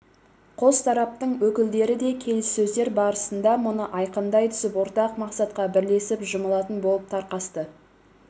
қос тараптың өкілдері де келіссөздер барысында мұны айқындай түсіп ортақ мақсатқа бірлесіп жұмылатын болып тарқасты